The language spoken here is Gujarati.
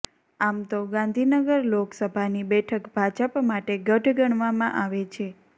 આમ તો ગાંધીનગર લોકસભાની બેઠક ભાજપ માટે ગઢ ગણવામાં આવે છે